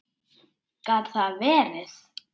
Gat það verið.?